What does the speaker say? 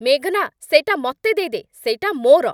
ମେଘନା, ସେଇଟା ମତେ ଦେଇଦେ। ସେଇଟା ମୋର!